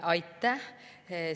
Aitäh!